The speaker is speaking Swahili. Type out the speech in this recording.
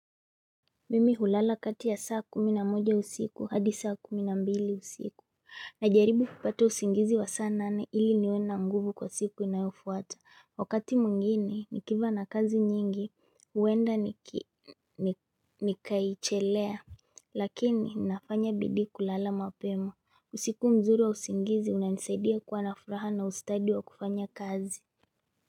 Mimi hulala kati ya saa kumi na moja usiku hadi saa kumi na mbili usiku Najaribu kupata usingizi wa saa nane ili niwe na nguvu kwa siku inayofuata wakati mwingine nikiwa na kazi nyingi huenda nikaichelea Lakini nafanya bidii kulala mapema usiku mzuri wa usingizi unanisaidia kuwa na furaha na ustadi wa kufanya kazi.